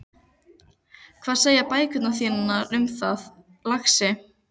Hvað segja bækurnar þínar um það, lagsi?